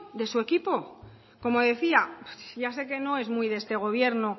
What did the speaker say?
de su equipo como decía ya sé que no es muy de este gobierno